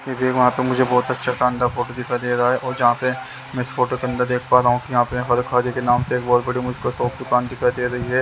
ये वहाँ पे मुझे बहुत अच्छा शानदार फोटो दिखाई दे रहा है और जहाँ पे मैं इस फोटो के अंदर देख पा रहा हूँ कि यहाँ पे हरखारी के नाम से एक बहुत बड़ी मुझको शॉप दुकान दिखाई दे रही है।